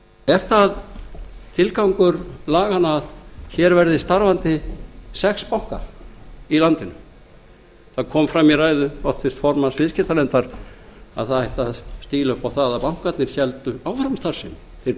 er það tilgangur laganna að hér verði starfandi sex bankar í landinu það kom fram í ræðu háttvirts formanns viðskiptanefndar að það ætti að stíla upp á það að bankarnir héldu áfram starfsemi þeir